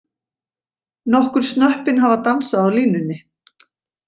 Nokkur snöppin hafa dansað á línunni.